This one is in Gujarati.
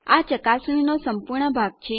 આ ચકાસણીનો સંપૂર્ણ ભાગ છે